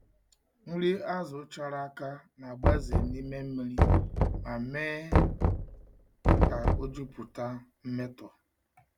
Nri azụ chara aka na-agbaze n’ime mmiri ma mee ka ọ jupụta mmetọ.